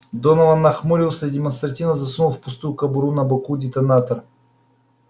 донован нахмурился и демонстративно засунул в пустую кобуру на боку детонатор